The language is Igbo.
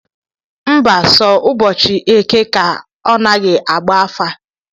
Mba, so ụbọchị eke ka ọ naghị agba afa